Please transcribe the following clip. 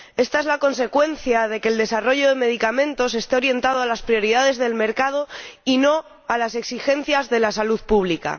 Esta es la consecuencia de que el desarrollo de medicamentos esté orientado a las prioridades del mercado, y no a las exigencias de la salud pública.